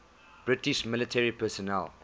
british military personnel